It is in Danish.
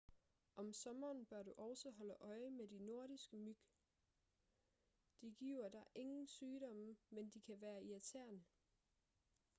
om sommeren bør du også holde øje med de nordiske myg de giver dig ingen sygdomme men de kan være irriterende